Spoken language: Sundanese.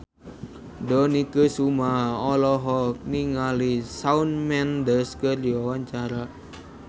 Dony Kesuma olohok ningali Shawn Mendes keur diwawancara